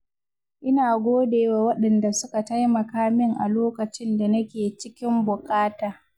Ina godewa waɗanda suka taimaka min a lokacin da nake cikin buƙata.